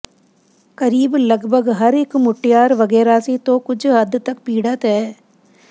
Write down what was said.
ਕਰੀਬ ਲਗਭਗ ਹਰ ਇੱਕ ਮੁਟਿਆਰ ਵਗੈਰਾਸੀ ਤੋਂ ਕੁਝ ਹੱਦ ਤਕ ਪੀੜਤ ਹੈ